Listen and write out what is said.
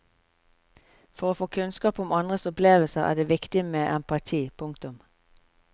For å få kunnskap om andres opplevelser er det viktig med empati. punktum